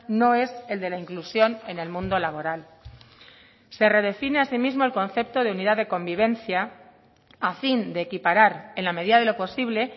no es el de la inclusión en el mundo laboral se redefine asimismo el concepto de unidad de convivencia a fin de equiparar en la medida de lo posible